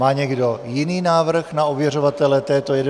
Má někdo jiný návrh na ověřovatele této 11. schůze?